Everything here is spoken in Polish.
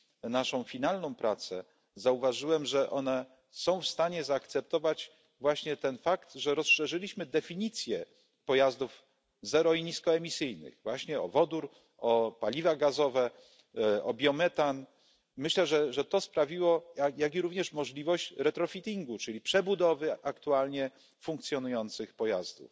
naszą finalną pracę, zauważyłem, że one są w stanie zaakceptować właśnie ten fakt, że rozszerzyliśmy definicję pojazdów zero i niskoemisyjnych, właśnie o wodór, o paliwa gazowe, biometan, jak i również o możliwość retrofittingu czyli przebudowy aktualnie funkcjonujących pojazdów.